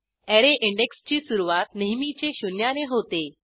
array इंडेक्सची सुरूवात नेहमीचे शून्याने होते